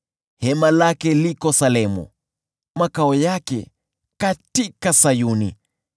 Hema lake liko Salemu, makao yake katika Sayuni.